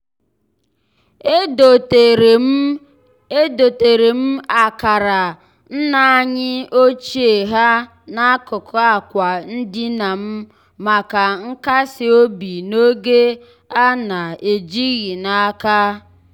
edoteere m edoteere m akara nna anyị ochie ha n'akụkụ akwa ndina m maka nkas obi n'oge a na-ejighị n'aka.